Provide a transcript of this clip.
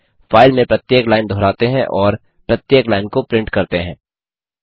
file में प्रत्येक line दोहराते हैं और प्रत्येक लाइन को प्रिंट करते हैं